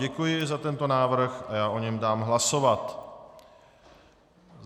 Děkuji za tento návrh a já o něm dám hlasovat.